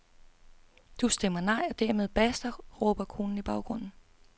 Du stemmer nej og dermed basta, råber konen i baggrunden.